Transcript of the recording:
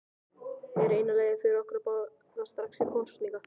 Er eina leiðin fyrir okkur að boða strax til kosninga?